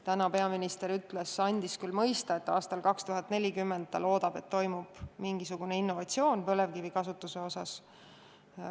Täna peaminister andis küll mõista, et loodetavasti aastal 2040 toimub mingisugune innovatsioon põlevkivikasutuse osas.